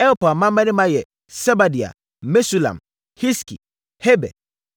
Elpaal mmammarima yɛ Sebadia, Mesulam, Hiski, Heber,